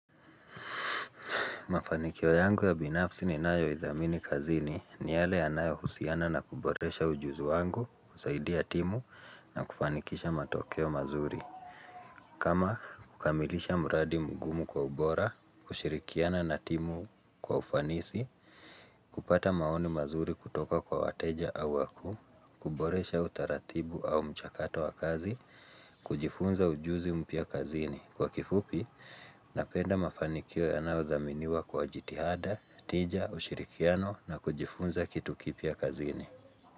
Mafanikio yangu ya binafsi ninayo idhamini kazini ni yale yanayo husiana na kuboresha ujuzi wangu, kusaidia timu na kufanikisha matokeo mazuri. Kama kukamilisha mradi mgumu kwa ubora, kushirikiana na timu kwa ufanisi, kupata maoni mazuri kutoka kwa wateja au wakuu, kuboresha utaratibu au mchakato wa kazi, kujifunza ujuzi mpya kazini. Kwa kifupi, napenda mafanikio yanayothaminiwa kwa jitihada, tija, ushirikiano na kujifunza kitu kipia kazini.